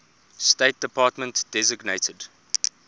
state department designated